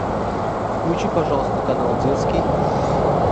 включи пожалуйста канал детский